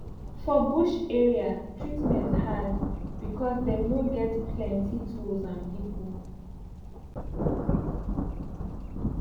for bush area treatment hard becos dem no get plenti tools and pipu